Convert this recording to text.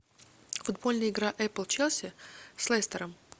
футбольная игра эпл челси с лестером